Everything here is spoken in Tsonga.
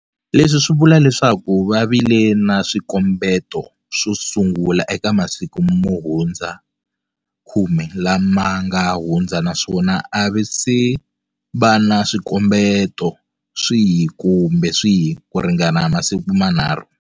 Leswi swi vula leswaku va vile na swikombeto swo sungula eka masiku mo hundza 10 lama ma nga hundza naswona a va se va na swikombeto swihi kumbe swihi kuringana masiku manharhu.